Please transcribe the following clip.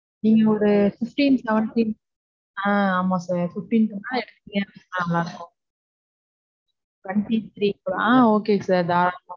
நீங்க ஒரு fifteen-seventeen ஆஹ் ஆமா sir fifteen க்கு மேல எடுத்தீங்கனா நல்லாயிருக்கும் twenty three க்குள்ள ஆஹ் okay sir தாரளாமா.